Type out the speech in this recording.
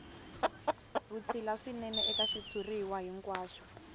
vutshila swinene eka xitshuriwa hinkwaxo